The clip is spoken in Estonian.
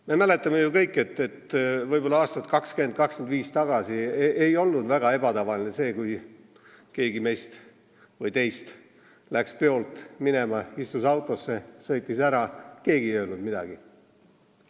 Me mäletame, et võib-olla 20–25 aastat tagasi ei olnud väga ebatavaline see, kui keegi meist või teist läks peolt minema, istus autosse, sõitis ära ja keegi ei öelnud midagi.